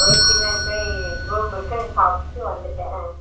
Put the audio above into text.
right பின்னாடி போய் godown இருக்கு அங்க போய் சாப்ட்டு வந்துட்டோ